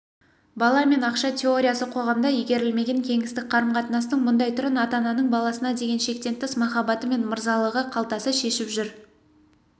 бала мен ақша теориясы қоғамда игерілмеген кеңістік қарым-қатынастың мұндай түрін ата-ананың баласына деген шектен тыс махаббаты мен мырзалығы қалтасы шешіп жүр